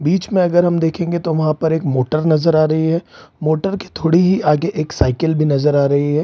बीच में अगर हम देखेंगे तो वहाँ पर एक मोटर नज़र आ रही है। मोटर के थोड़ी ही आगे एक साइकिल भी नज़र आ रही है।